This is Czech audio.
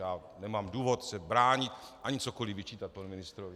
Já nemám důvod se bránit ani cokoliv vyčítat panu ministrovi.